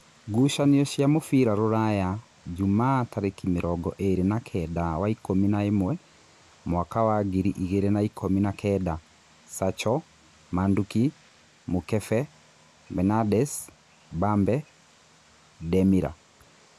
Ngucanio cia mũbira Rūraya Jumaa tarĩki mĩrongo ĩrĩ na kenda wa ikũmi na-ĩmwe mwaka wa ngiri igĩrĩ na-ikũmi na-kenda: Sacho, Manduki, Mũkebe, Benades, Mbabe, Ndemira